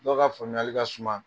Dɔw ka faamuyali ka suma